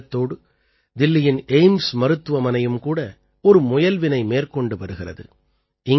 இந்த எண்ணத்தோடு தில்லியின் எய்ம்ஸ் மருத்துவமனையும் கூட ஒரு முயல்வினை மேற்கொண்டு வருகிறது